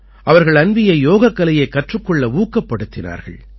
அவர்கள் அன்வீயை யோகக்கலையைக் கற்றுக் கொள்ள ஊக்கப்படுத்தினார்கள்